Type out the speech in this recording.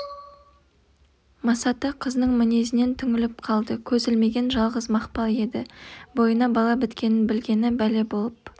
масаты қызының мінезінен түңіліп қалды көз ілмеген жалғыз мақпал еді бойына бала біткенін білгені бәле болып